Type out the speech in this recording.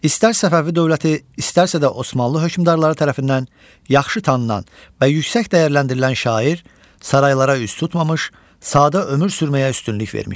İstər Səfəvi dövləti, istərsə də Osmanlı hökmdarları tərəfindən yaxşı tanınan və yüksək dəyərləndirilən şair saraylara üz tutmamış, sadə ömür sürməyə üstünlük vermişdi.